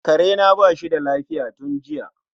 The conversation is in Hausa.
karena bashi da lafiya tun jiya.